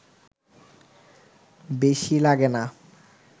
বেশি লাগে না